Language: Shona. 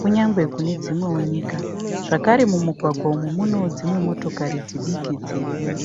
kunyange kune dzimwewo nyika. Zvakare mumugwagwa umu munewo dzimwe motokari dzidiki dzirimo.